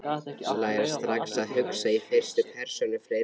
Læra strax að hugsa í fyrstu persónu fleirtölu